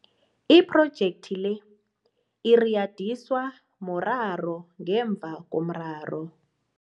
Iphrojetkhi le iriyadiswa muraro ngemva komraro.